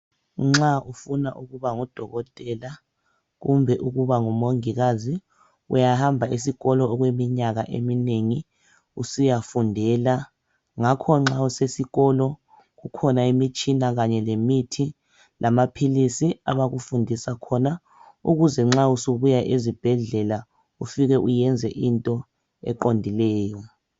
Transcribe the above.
Nxa ufuna ukuba ngudokotela kumbe ukuba ngumongikazi uyahamba esikolo okweminyaka eminengi usiyafundela ngakho nxa useskolo kukhona imitshina kanye lemithi lamaphilisi abakufundisa khona ukuze nxa usubuya ezibhedlela ufike uyenze into eqondileyo